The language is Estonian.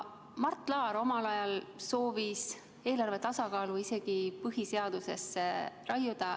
Mart Laar omal ajal soovis eelarve tasakaalu isegi põhiseadusesse raiuda.